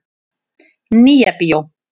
Nýja bíó